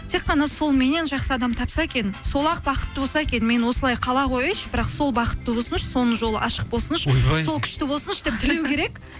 тек қана сол меннен жақсы адам тапса екен сол ақ бақытты болса екен мен осылай қала қояйыншы бірақ сол бақытты болсыншы соның жолы ашық болсыншы ойбай сол күшті болсыншы деп тілеу керек